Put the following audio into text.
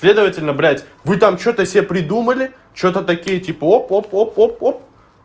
следовательно брать вы там что-то себе придумали что-то такие типа оп оп оп оп оп